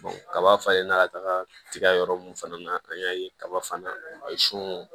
kaba falen n'a ka taga yɔrɔ mun fana na an y'a ye kaba fana sun